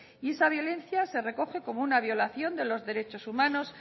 y esta violencia se recoge como una violación de los derechos humanos